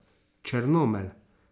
Črnomelj.